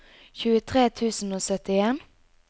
tjuetre tusen og syttien